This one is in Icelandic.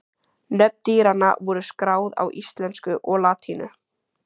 Nöfn dýranna voru skráð á íslensku og latínu.